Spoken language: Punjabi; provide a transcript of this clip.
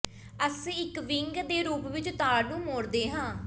ਅਸੀਂ ਇੱਕ ਵਿੰਗ ਦੇ ਰੂਪ ਵਿੱਚ ਤਾਰ ਨੂੰ ਮੋੜਦੇ ਹਾਂ